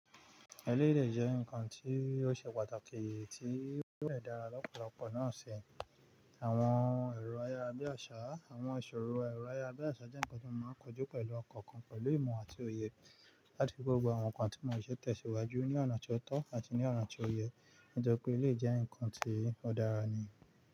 Ẹ̀lèyè de jẹ́ ǹkan tí ó ṣe pàtàkì tí yó de dára lọ́pọ̀lọpọ̀ náà ṣi. Àwọn èrò ayà bí àṣà, àwọn ìṣòro èrò ayà bí àṣà jẹ́ ǹkan tí màá ń kojú pẹ̀lú ọkàn kan pẹ̀lú ìmọ̀ àti òye láti fi gbogbo àwọn ǹkan tí mò ń ṣètò síwájú ní ọ̀nà tó tọ́ àti ní ọ̀nà tó yẹ. Nítorí pé ilé jẹ́ ǹkan tí ó dára ni.